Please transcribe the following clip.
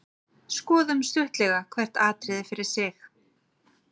Skoðum stuttlega hvert atriði fyrir sig.